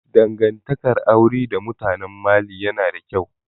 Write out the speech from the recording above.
Dangantakar aure da mutanen Mali yana da ƙyau